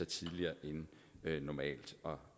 tidligere end normalt og